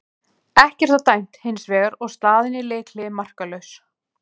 Ekkert var dæmt hins vegar og staðan í leikhléi markalaus.